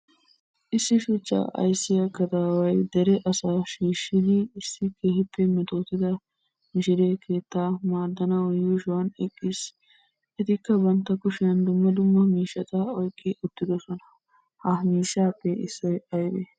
Issi shuchchaa aysiya gadaaway deree asaa shiishidi issi keehippe mettotida mishiree keettaa maadanawu yuushuwan eqqiis. Ettikka bantta kushiyan dumma dumma miishshaata oykki uttiddossona. Ha miishshaappe issoy aybee?